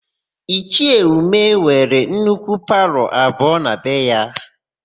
Ichie Umeh nwere nnukwu palọ abụọ na be ya.